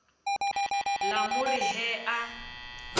la mo re he a